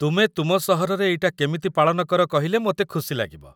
ତୁମେ ତୁମ ସହରରେ ଏଇଟା କେମିତି ପାଳନ କର କହିଲେ ମୋତେ ଖୁସି ଲାଗିବ ।